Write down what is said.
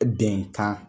Bɛnkan